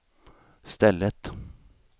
stället